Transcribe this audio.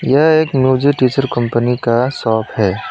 यह एक music teacher company का शॉप है।